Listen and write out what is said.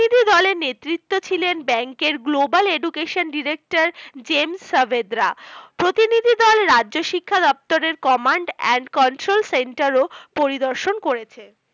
দলের নেতৃত্বে ছিলেন bank এর Global education Director-James Savebrah, প্রতিনিধি দল রাজ্যশিক্ষা দপ্তর Command and Control centre ও পরিদর্শন করেছে।